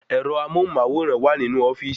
Ẹ̀rọ amóhùnmáwòrán máa n wa ninu ofíìsì